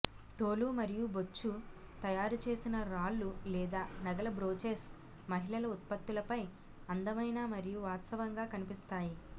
తోలు మరియు బొచ్చు తయారు చేసిన రాళ్లు లేదా నగల బ్రోచెస్ మహిళల ఉత్పత్తులపై అందమైన మరియు వాస్తవంగా కనిపిస్తాయి